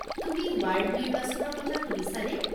তুমি ৱাৰ্ড নিৰ্বাচনৰ কথা শুনিছানে?